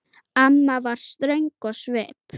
Amma var ströng á svip.